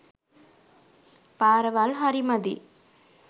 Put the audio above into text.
පාරවල් හරි මදි.